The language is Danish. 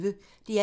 DR P1